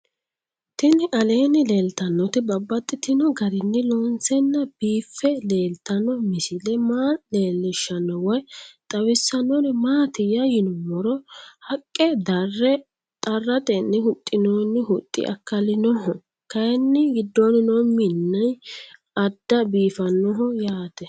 Tinni aleenni leelittannotti babaxxittinno garinni loonseenna biiffe leelittanno misile maa leelishshanno woy xawisannori maattiya yinummoro haqqa darre xarattenni huxxinnonni huxxi akkalinnoho kayinni gidoonni noo minni adda biiffannoho yaatte